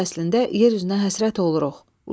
Qış fəslində yer üzünə həsrət oluruq.